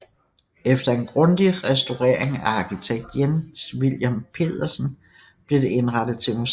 Efter en grundig restaurering af arkitekt Jens Vilhelm Petersen blev det indrettet til museum